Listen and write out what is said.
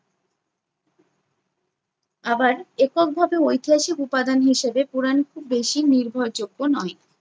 আবার এককভাবে ঐতিহাসিক উপাদান হিসাবে পুরাণ খুব বেশি নির্ভরযোগ্য নয়।